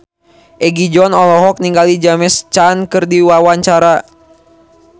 Egi John olohok ningali James Caan keur diwawancara